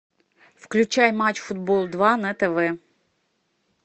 включай матч футбол два на тв